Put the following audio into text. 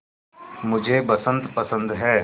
मुझे बसंत पसंद है